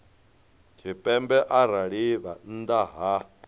tshipembe arali vha nnḓa ha